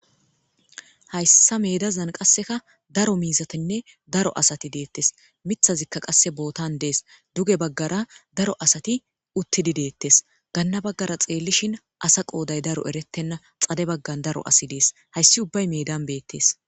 hayssa medazan qasseka daro miizatinne daro asati deettes mithazikka qasse bootan dees duge baggara daro asati uttidi deettes ganna baggara xeellishin asa qooday daro erettenna xade baggan daro asi dees hayssi ubbay medan beettes